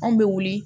Anw bɛ wuli